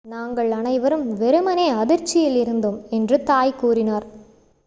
"""நாங்கள் அனைவரும் வெறுமனே அதிர்ச்சியில் இருந்தோம்," என்று தாய் கூறினார்.